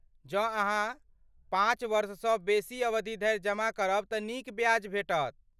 जँ अहाँ पाँच वर्षसँ बेसी अवधि धरि जमा करब तँ नीक ब्याज भेटत।